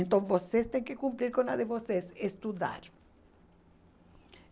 Então, vocês têm que cumprir com a de vocês, estudar.